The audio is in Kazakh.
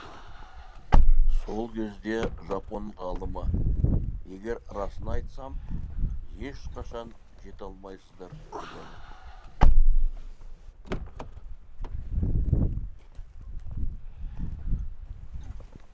сол кезде жапон ғалымы егер расын айтсам ешқашан жете алмайсыздар дегені